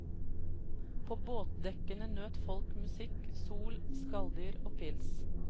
På båtdekkene nøt folk musikk, sol, skalldyr og pils.